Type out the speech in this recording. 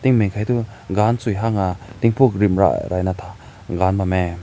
meneng hai toh gan tsü hüng na tibuk rim rai rai gam ma neh.